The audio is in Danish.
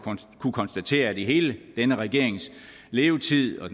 kunnet konstatere at i hele denne regerings levetid og